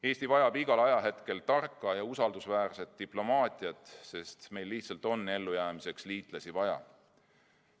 Eesti vajab igal ajahetkel tarka ja usaldusväärset diplomaatiat, sest meil lihtsalt on ellujäämiseks liitlasi vaja.